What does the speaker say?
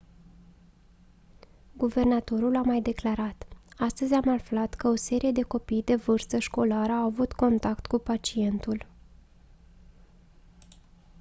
guvernatorul a mai declarat: «astăzi am aflat că o serie de copii de vârstă școlară au avut contact cu pacientul».